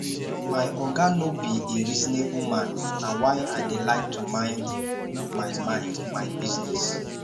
my oga no be a reasonable man na why i dey like to mind my mind my business